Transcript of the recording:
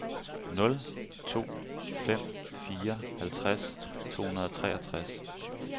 nul to fem fire halvtreds to hundrede og treogtres